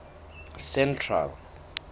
central